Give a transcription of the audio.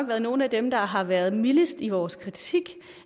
været nogle af dem der har været mildest i vores kritik